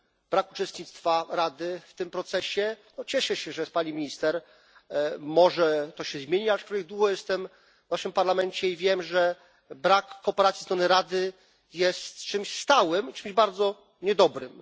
Brak uczestnictwa Rady w tym procesie no cieszę się, że jest pani minister może to się zmieni, aczkolwiek długo jestem w naszym Parlamencie i wiem, że brak kooperacji ze strony Rady jest czymś stałym, czymś bardzo niedobrym.